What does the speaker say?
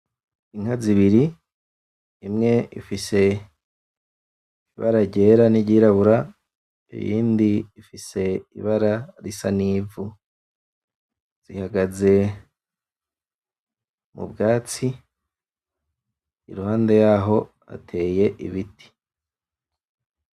Inka zibiri, imwe ifise ibara ryera niryirabura iyindi ifise ibara risa n'ivu zihagaze mubwatsi iruhande yaho hateye ibiti.